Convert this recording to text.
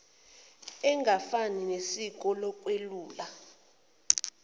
engafani nesiko lokwelula